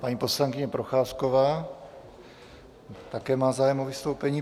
Paní poslankyně Procházková také má zájem o vystoupení.